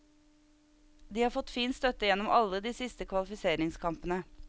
De har fått fin støtte gjennom alle de siste kvalifiseringskampene.